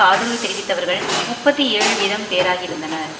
ஆதரவு தெரிவித்தவர்கள் முப்பத்தி ஏழு வீதம் பேராகயிருந்தனர்